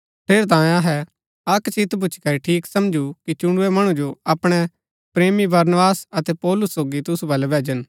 ठेरैतांये अहै अक्क चित भूच्ची करी ठीक समझु कि चुणुरै मणु जो अपणै प्रेमी बरनबास अतै पौलुस सोगी तुसु बलै भैजन